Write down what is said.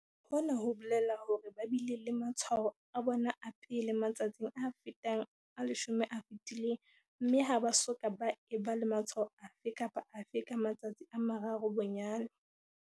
Hona ho bolela hore ba bile le matshwao a bona a pele matsatsing a fetang a 10 a fetileng mme ha ba soka ba eba le matshwao afe kapa afe ka matsatsi a mararo bonyane.